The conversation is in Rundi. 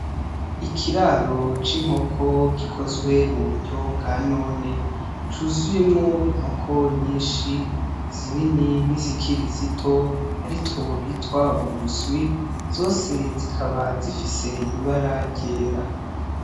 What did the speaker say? Ikiraro c'inkoko gikozwe mu buryo bwa none cuzuyemwo inkoko nyinshi zinini n'izikiri zito ari two bitwa uduswi, zose zikaba zifise ibara ryera.